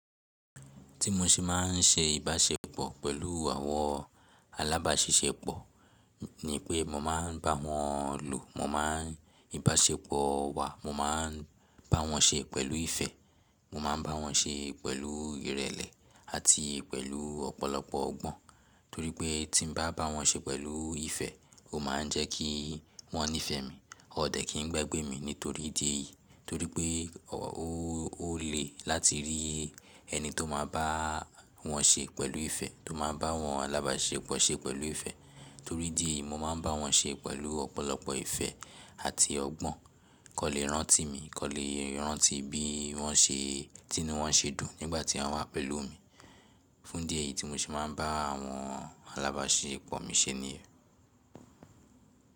Tí mo ṣe máà ń ṣe ìbáṣepọ̀ pẹ̀lú àwọn alábáṣiṣẹ́pọ̀ ni pé mo máa ń bá wọn lò, mo máa ń ìbáṣepọ̀ wa, mo máa ń bá wọn ṣe pẹ̀lú ìfẹ́, mo máa ń bá wọn ṣe pẹ̀lú ìrẹ̀lẹ̀ àti pẹ̀lú ọ̀pọ̀lọpọ̀ ọgbọ́n. Torí pé tí n bá bá wọn ṣe pẹ̀lú ìfẹ́, ó máa ń jẹ́ kí wọ́n nífẹ̀ẹ́ mi, ọ̀ dẹ̀ kín ń gbégbé mi nítorí díẹ̀ yìí. Torí pé ó lè láti rí ẹni tó máa bá wọn ṣe pẹ̀lú ìfẹ́, tó máa bá àwọn alábáṣiṣẹ́pọ̀ ṣe pẹ̀lú ìfẹ́. Torí idí ẹ̀yìí mo máa ń bá wọn ṣe pẹ̀lú ọ̀pọ̀lọpọ̀ ìfẹ́ àti ọgbọ́n. Kò lè rántí mi, kò lè rántí bí wọ́n ṣe, tí nu wọ́n ṣe dùn nígbà tí wọ́n wà pẹ̀lú mi. Fún idí ẹ̀yìí tí mo ṣe máa ń bá àwọn alábáṣiṣẹ́pọ̀ mi ṣe ni.